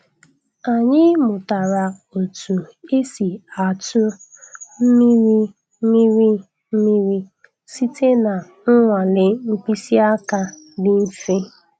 Anyị mụtara otu esi atụ mmiri mmiri mmiri site na nnwale mkpịsị aka dị mfe.